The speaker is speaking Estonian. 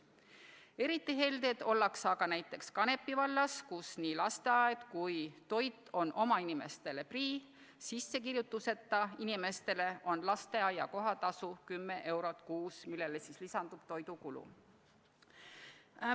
Eriti helded ollakse aga näiteks Kanepi vallas, kus nii lasteaiakoht kui ka toit on oma inimeste lastele prii, sissekirjutuseta inimestele on lasteaia kohatasu 10 eurot kuus, millele lisandub toiduraha.